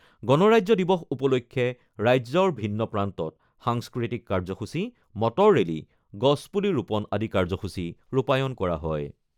গণৰাজ্য দিৱস উপলক্ষে ৰাজ্যৰ ভিন্ন প্ৰান্তত সাংস্কৃতিক কাৰ্যসূচী, মটৰ ৰেলী, গছপুলি ৰোপন আদি কাৰ্যসূচী ৰূপায়ন কৰা হয়।